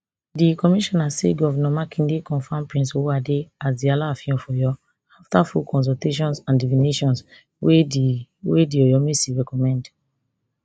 di commissioner say govnor makinde confam prince owoade as di alaafin of oyo afta full consultations and divinations wey di wey di oyomesi recommend